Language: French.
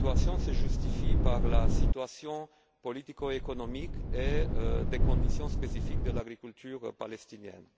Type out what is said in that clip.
Son adoption se justifie par la situation politico économique et les conditions spécifiques de l'agriculture palestinienne.